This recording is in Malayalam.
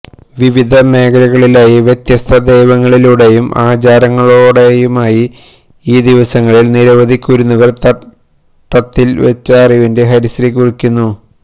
വിവിധ മേഖലകളിലായി വ്യത്യസ്ത ദൈവങ്ങളിലൂടേയും ആചാരങ്ങളോടേയമായി ഈ ദിവസത്തില് നിരവധി കുരുന്നുകള് തട്ടത്തില് വെച്ച അറിവിന്റെ ഹരിശ്രീ കുറിക്കുന്നു